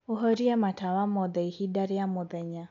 ũhorĩe matawa motheĩhĩnda rĩa mũthenya